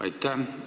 Aitäh!